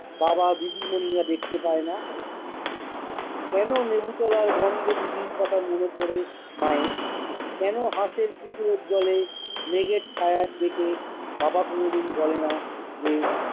তারা দিদিমনিরা দেখতে পায় না? কেনো লেবুতলার গন্ধে দিদির কথা মনে পরে মায়ের? কেনো হাঁসের পুকুরের জলে, মেঘের ছায়ার দেশে বাবা কোনদিন বলে না যে-